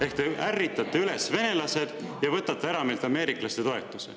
Ehk te ärritate üles venelased ja võtate meilt ära ameeriklaste toetuse.